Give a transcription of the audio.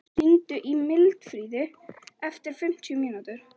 Marí, hringdu í Mildfríði eftir fimmtíu mínútur.